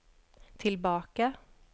tillbaka